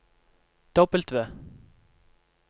W